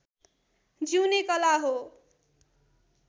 जिउने कला हो